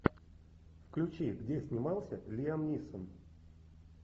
включи где снимался лиам нисон